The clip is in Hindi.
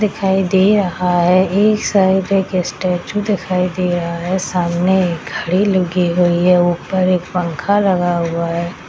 दिखाई दे रहा है एक साइड एक स्टैचू दिखाई दे रहा है सामने एक घड़ी लगी हुई है ऊपर एक पंखा लगा हुआ है।